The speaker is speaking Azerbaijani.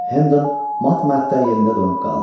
Henden mat-məəttəl yerində donub qaldı.